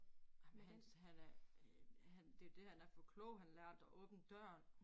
Ej men han han er øh han det jo det han er for klog han lærte at åbne døren